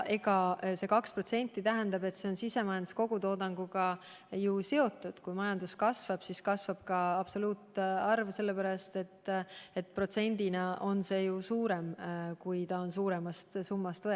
See 2% on sisemajanduse kogutoodanguga seotud, nii et kui majandus kasvab, siis kasvab ka kaitsekulude absoluutsumma eurodes, sellepärast et protsent on võetud suuremast summast.